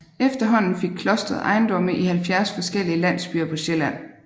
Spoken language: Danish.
Efterhånden fik klostret ejendomme i 70 forskellige landsbyer på Sjælland